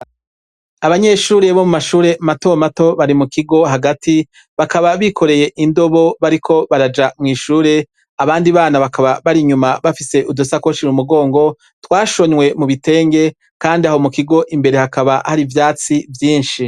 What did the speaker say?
Abanyeshure bo mu mashure mato mato bari mu kigo hagati, bakaba bikoreye indobo bariko baraja mw'ishure, abandi bana bakaba bari inyuma bafise udusakoshi mu mugongo, twashonywe mu bitenge, kandi aho mu kigo imbere hakaba hari n'ivyatsi vyinshi.